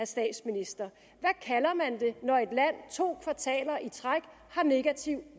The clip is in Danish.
statsministeren når et land to kvartaler i træk har negativ